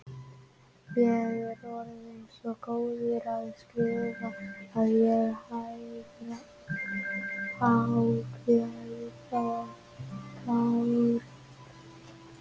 Ég er orðinn svo góður í að skrifa að ég hágræt og tárin streyma.